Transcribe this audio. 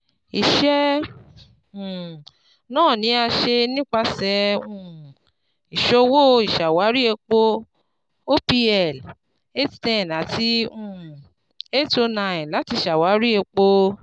Iṣẹ um naa ni a ṣe nipasẹ um Iṣowo Iṣawari epo (OPL) eight hundred ten ati um eight hundred nine lati ṣawari epo